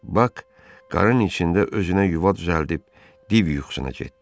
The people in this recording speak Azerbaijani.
Bak qarın içində özünə yuva düzəldib div yuxusuna getdi.